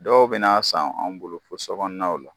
Dɔw bena san an bolo fɔ sɔkɔnan la